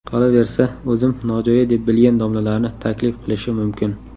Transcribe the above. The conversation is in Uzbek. Qolaversa, o‘zim nojo‘ya deb bilgan domlalarni taklif qilishi mumkin.